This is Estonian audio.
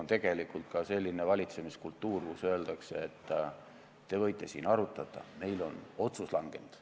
Kuritegelik on ka selline valitsemiskultuur, mille puhul öeldakse, et te võite siin arutada, meil on otsus langenud.